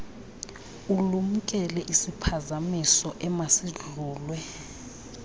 ulumkele isiphazamiso emasidlulwe